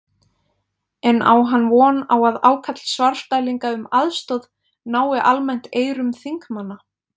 En á hann von á að ákall Svarfdælinga um aðstoð nái almennt eyrum þingmanna?